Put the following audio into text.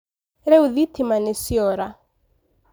Rĩu thitima nĩciora